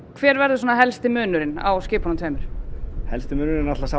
hver verður svona helstu munurinn á skipunum tveimur helsti munurinn er náttúrulega